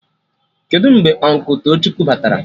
Kedụ mgbe Ụnkụ Tochukwu batara?